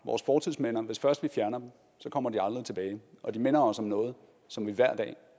vores fortidsminder hvis først vi fjerner dem kommer de aldrig tilbage og de minder os om noget som vi hver dag